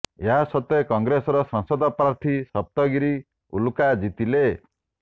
ଏହା ସତ୍ତ୍ବେ କଂଗ୍ରେସର ସାଂସଦ ପ୍ରାର୍ଥୀ ସପ୍ତଗିରି ଉଲ୍ଲାକା ଜିତିଲେ